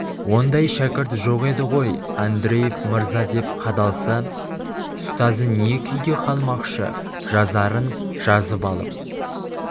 ондай шәкірт жоқ еді ғой андреев мырза деп қадалса ұстазы не күйде қалмақшы жазарын жазып алып